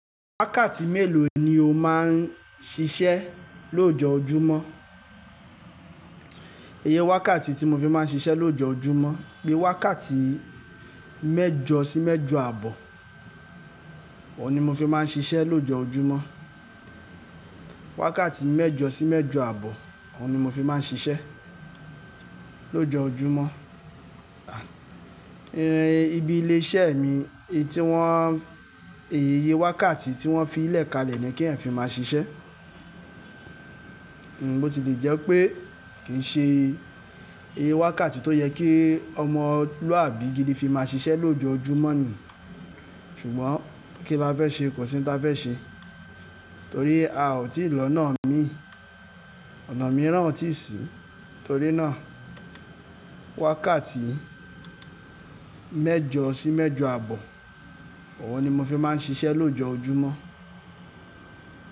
Wákàtí mélòó ni o máa ń ṣiṣẹ́ lójoojúmọ́? Iye wákàtí tí mo fi máa ń ṣiṣẹ́ lójoojúmọ́, pé wákàtí mẹ́jọ sí mẹ́jọ àbọ̀, òhun ni mo fi máa ń ṣiṣẹ́ lójoojúmọ́. Wákàtí mẹ́jọ sí mẹ́jọ àbọ̀, òwò ni mo fi máa ń ṣiṣẹ́ lójoojúmọ́. Ibi ilé iṣẹ́ mi, èyí tí wọ́n, èyí iye wákàtí tí wọ́n fi í lẹ̀ kalẹ̀ ni kí ẹ̀ fi máa ṣiṣẹ́, bó ti lè jẹ́ pé kì í ṣe iye wákàtí tó yẹ kí ọmọlúàbí gidi fi máa ṣiṣẹ́ lójoojúmọ́ ni. Ṣùgbọ́n kíláfẹ́ ṣe kò sí n táfẹ́ ṣe, torí a ò tí ì lọ́nà mi, ọ̀nà mìíràn ò tíì sí, torí náà wákàtí mẹ́jọ sí mẹ́jọ àbọ̀, òhun ni mo fi máa ń ṣiṣẹ́ lójoojúmọ́.